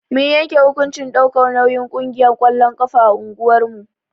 Mun yanke hukuncin ɗaukar nauyin ƙungiyar ƙwallon ƙafa a unguwar mu.